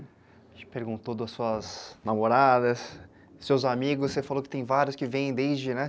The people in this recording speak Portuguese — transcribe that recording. A gente perguntou das suas namoradas, seus amigos, você falou que tem vários que vêm desde, né?